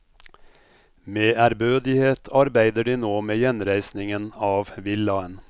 Med ærbødighet arbeider de nå med gjenreisningen av villaen.